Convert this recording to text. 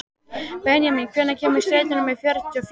Benjamín, hvenær kemur strætó númer fjörutíu og fjögur?